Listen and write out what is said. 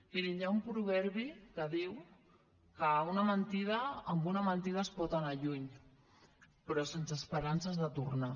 mirin hi ha un proverbi que diu que amb una mentida es pot anar lluny però sense esperances de tornar